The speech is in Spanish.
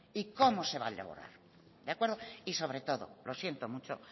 y cómo se va a lograr de acuerdo y sobre todo lo siento mucho